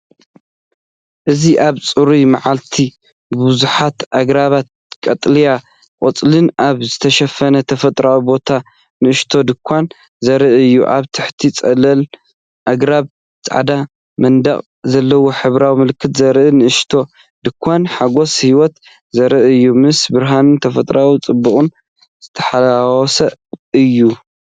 እዚ ኣብ ጽሩይ መዓልቲ፡ ብብዙሓት ኣግራብን ቀጠልያ ቆጽልን ኣብ ዝተሸፈነ ተፈጥሮኣዊ ቦታ ንእሽቶ ድኳን ዘርኢ እዩ። ኣብ ትሕቲ ጽላል ኣግራብ ጻዕዳ መንደቕ ዘለዎ፡ሕብራዊ ምልክት ዘለዎ ንእሽቶ ድኳን፡ ሓጎስ ህይወት ዘርኢ እዩ፤ ምስ ብርሃንን ተፈጥሮኣዊ ጽባቐን ዝተሓዋወሰ እዩ።